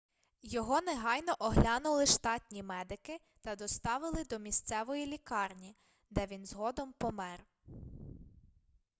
його негайно оглянули штатні медики та доставили до місцевої лікарні де він згодом помер